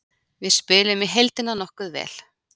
Við spiluðum í heildina nokkuð vel.